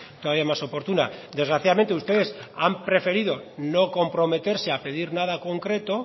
todavía más oportuna desgraciadamente ustedes han preferido no comprometerse a pedir nada concreto